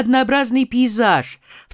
однообразный пейзаж